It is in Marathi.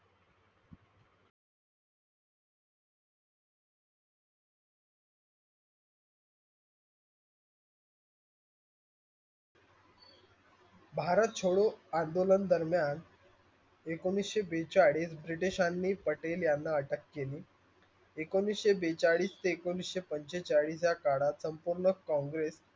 भारत छोडो आंदोलन दरम्यान एकोणवीसशे बेचाळीस ब्रिटिशांनी पटेल याना अटक केली. एकोणवीसशे बेचाळीस ते एकोणवीसशे पंचेचाळीस या काळात संपूर्ण कांग्रेस,